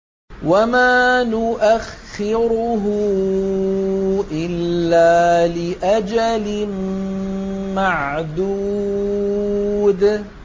وَمَا نُؤَخِّرُهُ إِلَّا لِأَجَلٍ مَّعْدُودٍ